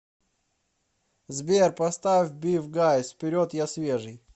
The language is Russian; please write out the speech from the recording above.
сбер поставь бифгайз вперед я свежий